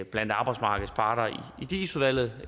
blandt arbejdsmarkedets parter i dis udvalget